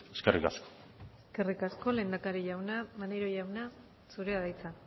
eskerrik asko eskerrik asko lehendakari jauna maneiro jauna zurea da hitza